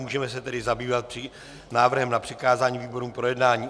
Můžeme se tedy zabývat návrhem na přikázání výborům k projednání.